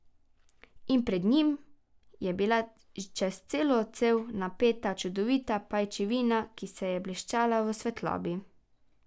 In pred njim je bila čez celo cev napeta čudovita pajčevina, ki se je bleščala v svetlobi.